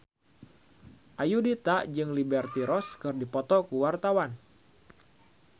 Ayudhita jeung Liberty Ross keur dipoto ku wartawan